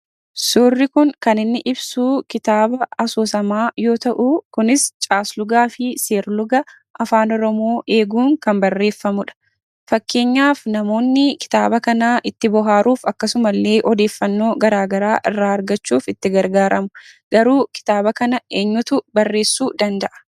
Suurri kun kan inni ibsu kitaaba asoosamaa yoo ta'u, kunis caaslugaa fi seerluga afaan Oromoo eeguun kan barreefamedha. Fakkeenyaaf; kitaaba kana namoonni itti bohaaruuf akkasumallee odeeffannoo garaagaraa irraa argachuuf itti gargaaramu. Garuu kitaaba kana eenyutu barreessuu danda'a?